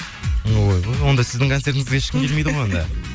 ойбой онда сіздің концертіңізге ешкім келмейді ғой онда